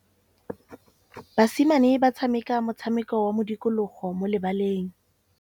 Basimane ba tshameka motshameko wa modikologô mo lebaleng.